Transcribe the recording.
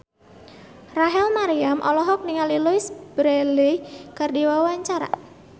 Rachel Maryam olohok ningali Louise Brealey keur diwawancara